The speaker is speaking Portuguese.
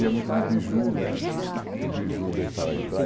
Ia muito no biju né, eh ah, que o biju deixava entrar.